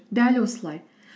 дәл осылай